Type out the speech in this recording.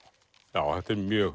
já þetta er mjög